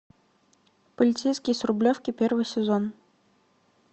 полицейский с рублевки первый сезон